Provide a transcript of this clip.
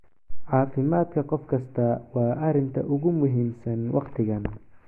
"Caafimaadka qof kasta waa arrinta ugu muhiimsan waqtigan."